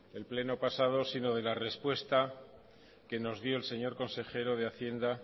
el pleno pasado sino de la respuesta que nos dio el señor consejero de hacienda